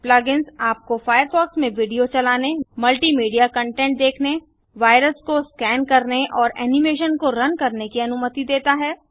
plug ins आपको Firefox में video चलाने मल्टि मीडिया कंटेंट देखने वाइरस को स्कैन करने और एनिमेशन को रन करने की अनुमति देता है